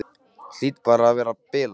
Hlýt bara að vera að bilast.